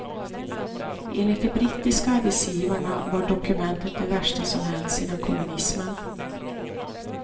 Enligt de brittiska arbetsgivarna var dokumentet det värsta som hänt sedan kommunismen.